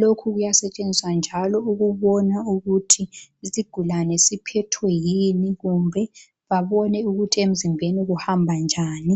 lokhu kuyasetshenziswa njalo ukubona ukuthi isigulane siphethwe yini kumbe babone ukuthi emzimbeni kuhamba njani